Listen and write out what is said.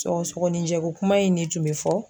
Sɔgɔsɔgɔninjɛko kuma in de tun bɛ fɔ.